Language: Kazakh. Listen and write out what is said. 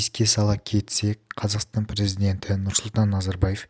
еске сала кетсек қазақстан президенті нұрсұлтан назарбаев